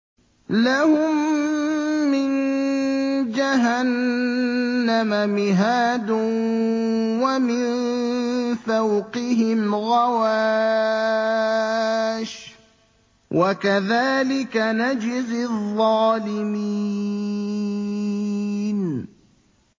لَهُم مِّن جَهَنَّمَ مِهَادٌ وَمِن فَوْقِهِمْ غَوَاشٍ ۚ وَكَذَٰلِكَ نَجْزِي الظَّالِمِينَ